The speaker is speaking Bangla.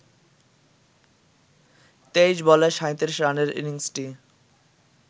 ২৩ বলে ৩৭ রানের ইনিংসটি